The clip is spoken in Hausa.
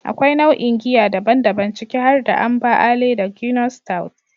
Akwai nau'o'in giya daban-daban, ciki har da "Amber ale da Guinness stout".